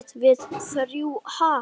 Við- við þrjú, ha?